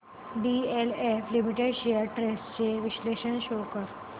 DLF limited shares trends चे विश्लेषण show कर